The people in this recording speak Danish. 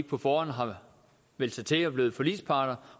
på forhånd har meldt sig til og er blevet forligsparter